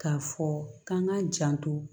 K'a fɔ k'an k'a janto